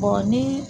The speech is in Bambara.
ni